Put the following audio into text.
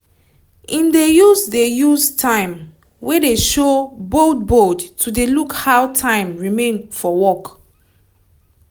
im dey use dey use time wey dey show bold bold to dey look how time remain for work